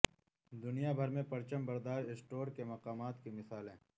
دنیا بھر میں پرچم بردار اسٹور کے مقامات کی مثالیں